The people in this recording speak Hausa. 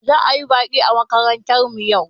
Za'a yi baƙi a makarantar mu yau.